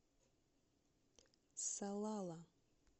салала